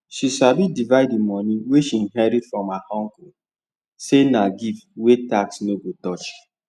she sabi divide the money wey she inherit from her uncle say na gift wey tax no go touch